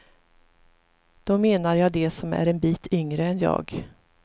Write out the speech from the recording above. Då menar jag de som är en bit yngre än jag.